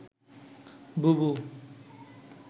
বুবু